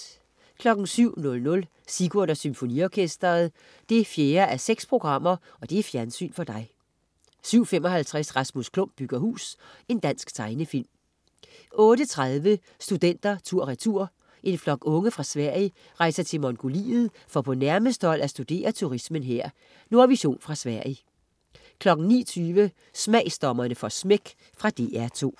07.00 Sigurd og Symfoniorkestret. 4:6 Fjernsyn for dig 07.55 Rasmus Klump bygger hus. Dansk tegnefilm 08.30 Studenter tur/retur. En flok unge fra Sverige rejser til Mongoliet for på nærmeste hold at studere turismen her. Nordvision fra Sverige 09.20 Smagsdommerne får smæk. Fra DR2